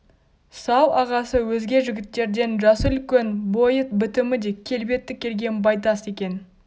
сал-ағасы өзге жігіттерден жасы үлкен бойы бітімі де келбетті келген байтас екен